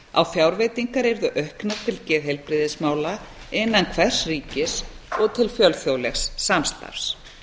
að fjárveitingar yrðu auknar til geðheilbrigðismála innan hvers ríkis og til fjölþjóðlegs samstarfs